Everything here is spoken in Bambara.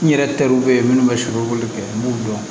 N yɛrɛ teriw bɛ yen minnu bɛ sogo kɛ n b'u dɔn